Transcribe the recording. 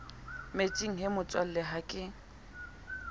metsing he motswalle ha ke